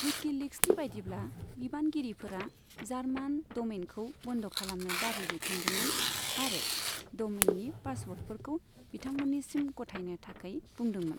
विकिलिक्सनि बायदिब्ला, बिबानगिरिफोरा जार्मान डमेइनखौ बन्द खालामनो दाबि दैखांदोंमोन आरो डमेइननि पासवर्डफोरखौ बिथांमोन्निसिम गथायनो थाखाय बुंदोंमोन।